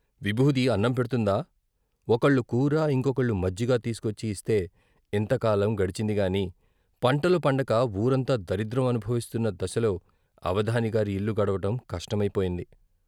విబూది అన్నం పెడ్తుందా ఒకళ్ళు కూర, ఇంకొకళ్ళు మజ్జిగ తీసుకొచ్చి ఇస్తే ఇంతకాలం గడిచిందిగాని పంటలు పండక పూరంతా దరిద్రం అనుభవిస్తున్న దశలో అవధాన గారి ఇల్లు గడవటం కష్టమై పోయింది.